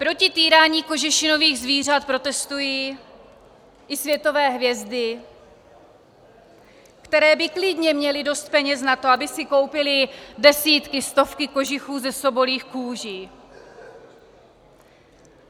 Proti týrání kožešinových zvířat protestují i světové hvězdy, které by klidně měly dost peněz na to, aby si koupily desítky, stovky kožichů ze sobolích kůží.